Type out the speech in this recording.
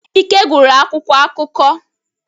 Ike gụrụ akwụkwọ akụkọ.